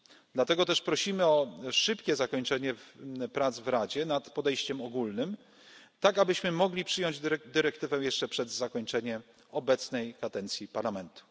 Dlatego też prosimy o szybkie zakończenie prac w Radzie nad podejściem ogólnym, tak abyśmy mogli przyjąć dyrektywę jeszcze przed zakończeniem obecnej kadencji Parlamentu.